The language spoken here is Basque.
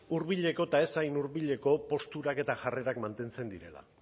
hurbileko eta ez hain hurbileko posturak eta jarrerak mantentzen direla